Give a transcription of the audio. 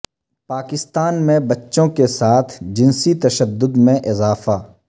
پاکستان میں بچوں کے ساتھ جنسی تشدد میں اضافہ